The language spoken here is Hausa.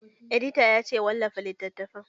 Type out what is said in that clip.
Editan ya ce 'Wallafa littatafan'!